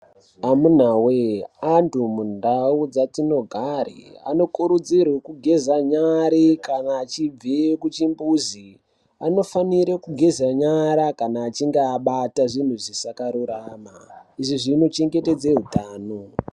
Amunawee antu mundau dzatinogare, anokurudzirwe kugeza nyare kana achibve kuchimbuzi. Anofanire kugeza nyara kana achinge abarwa zvinhu zvisakarurama. Izvi zvinochengetedze utano.